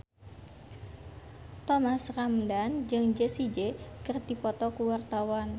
Thomas Ramdhan jeung Jessie J keur dipoto ku wartawan